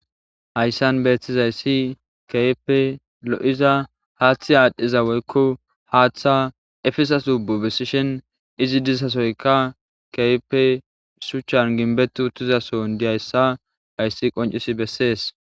hayssan betizayissi kehipe lo'iza haaththi aadhdhiza woykko haaththa efiza zokko besishen izi dissasoyka kehipe shuchchan ginbetu uttizason diyayissa hayssi qoncisi bessees